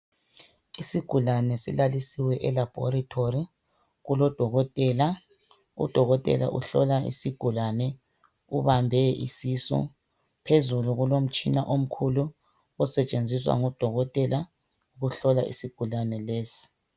isigulane silalisiswe e laboratory kulo dokotela u dokotela uhlola isigulane ubambe isisu phezulu kulomtshina omkhulu osetshenziswa ngodokotela ukuhlola isigulane lesi